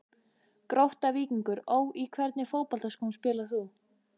Grótta-Víkingur Ó Í hvernig fótboltaskóm spilar þú?